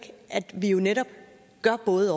at vi jo netop gør både